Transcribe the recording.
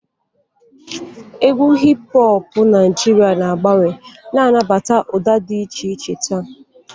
Égwù hip hoọpụ Naijiria na-agbanwe, na-anabata ụda dị iche iche taa.